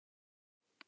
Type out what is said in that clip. Nei, nei!